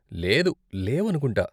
లేదు, లేవనుకుంటా.